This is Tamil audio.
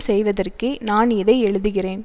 செய்வதற்கே நான் இதை எழுதுகிறேன்